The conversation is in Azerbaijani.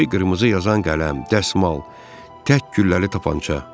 Göy qırmızı yazan qələm, dəsmal, tək gülləli tapança.